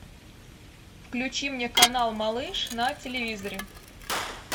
включи мне канал малыш на телевизоре